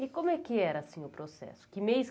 E como é que era assim o processo? Que mês